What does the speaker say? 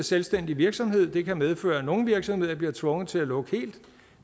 selvstændig virksomhed og det kan medføre at nogle virksomheder bliver tvunget til at lukke helt